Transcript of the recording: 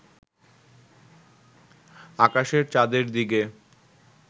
আকাশের চাঁদের দিকে